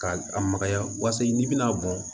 Ka a makaya wasa n'i bɛna bɔn